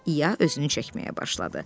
İya özünü çəkməyə başladı.